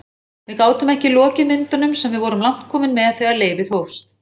Við gátum ekki lokið myndunum sem við vorum langt komin með þegar leyfið hófst.